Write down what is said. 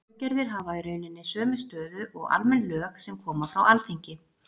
Reglugerðir hafa í rauninni sömu stöðu og almenn lög sem koma frá Alþingi.